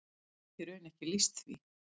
Ég get í raun ekki lýst því.